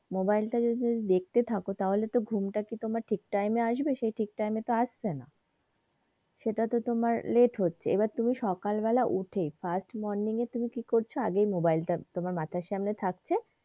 mobile তা তুমি যদি দেখতে থাকো তাহলে ঘুম তা কি তোমার ঠিক time এ আসবে? সে ঠিক time এ তো আসছেনা সেইটা তো তোমার late হচ্ছে এইবার তুমি সকাল বেলায় উঠে first morning এ তুমি কি করছো আগে mobile টা তোমার মাথার সামনে থাকছে।